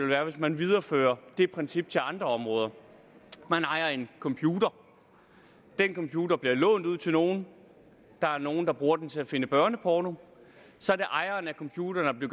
være hvis man videreførte det princip til andre områder man ejer en computer den computer bliver lånt ud til nogen der er nogen der bruger den til at finde børneporno så er det ejeren af computeren der